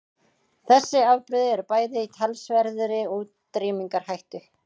Þessi afbrigði eru bæði í talsverðri útrýmingarhættu.